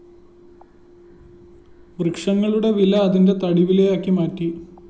വൃക്ഷങ്ങളുടെ വില അതിന്റെ തടിവിലയാക്കി മാറ്റി